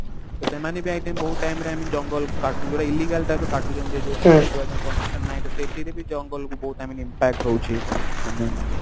ତ ସେମାନେ ବି ପ୍ରାୟ time ବହୁତ time ରେ i mean ଜଙ୍ଗଲ କୁ କାଟୁଛନ୍ତି ଯଉଟା illegal type ର କାଟୁଛନ୍ତି ଯଉ permission ନାହିଁ ତ ସେଥିରେ ବି ଜଙ୍ଗଲକୁ ବହୁତ i mean impact ହଉଛି i mean